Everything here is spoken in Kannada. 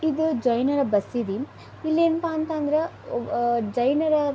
ಇದು ಜೈನ ಬಸೀದಿ ಇಲ್ಲಿ ಏನಪ್ಪಾ ಎಂಥ ಅಂದ್ರೆ ಆಹ್ಹ್ ಜೈನರ --